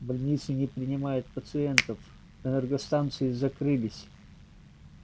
больницы не принимают пациентов энергостанции закрылись